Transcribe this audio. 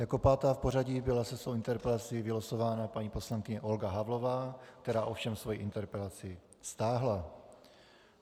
Jako pátá v pořadí byla se svou interpelací vylosována paní poslankyně Olga Havlová, která ovšem svoji interpelaci stáhla.